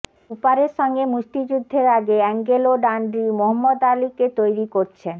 কুপারের সঙ্গে মুষ্টিযুদ্ধের আগে অ্যাঙ্গেলো ডানড্রি মোহাম্মদ আলিকে তৈরি করছেন